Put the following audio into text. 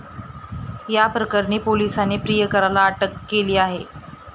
या प्रकरणी पोलिसांनी प्रियकराला अटक केली आहे.